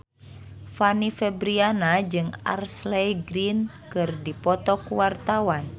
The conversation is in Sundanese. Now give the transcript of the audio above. Fanny Fabriana jeung Ashley Greene keur dipoto ku wartawan